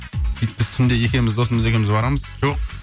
сөйтіп біз түнде екеуміз досымыз екеуміз барамыз жоқ